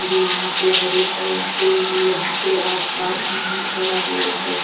भी यहां पे हरे भरे हैं कोई भी यहां पे आस-पास नहीं खड़ा हुआ है।